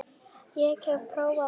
Ég hef prófað allt!